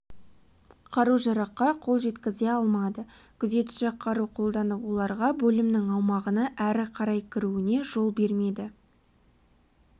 қару-жараққа қол жеткізе алмады күзетші қару қолданып оларға бөлімнің аумағына әрі қарай кіруіне жол бермеді